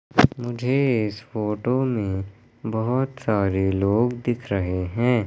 मुझे इस फोटो बहुत सारे लोग दिख रहे हैं।